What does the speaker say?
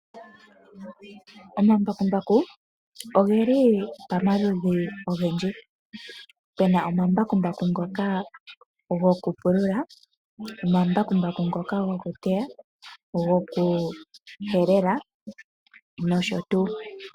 Omambakumbaku ogeli pomaludhi ogendji, opuna omambakumbaku ngoka gokupulula, omambakumbaku ngoka gokuteya, opuna woo nokugokuhelela noshotuu.